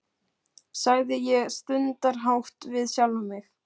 sagði ég stundarhátt við sjálfa mig.